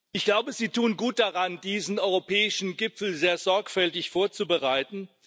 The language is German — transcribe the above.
Ich glaube, Sie tun gut daran, diesen europäischen Gipfel sehr sorgfältig vorzubereiten.